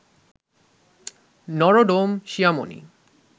Norodom Sihamoni,